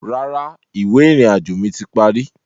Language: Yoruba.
Rárá, ìwé ìrìnàjò mi ti parí